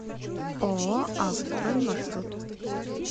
ооо ав строй маршрут